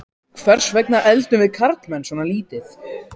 Hvers vegna eldum við karlmenn svona lítið?